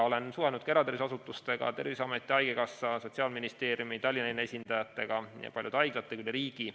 Olen suhelnud ka eratervishoiuasutustega, Terviseametiga, haigekassaga, Sotsiaalministeeriumiga, Tallinna linna esindajatega ja paljude haiglatega üle riigi.